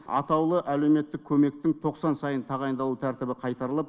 атаулы әлеуметтік көмектің тоқсан сайын тағайындалу тәртібі қайтарылып